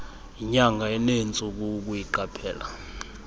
yinyanga enentsuku ukuyiqaphela